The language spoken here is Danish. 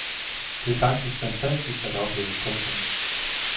Det er faktisk fantastisk at opleve. punktum